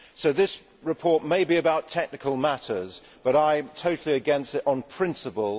This report may be about technical matters but I am totally against it on principle.